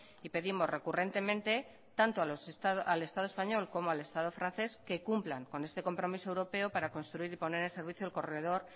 y pedimos recurrentemente tanto al estado español como al estado francés que cumplan con este compromiso europeo para construir y poner en servicio el corredor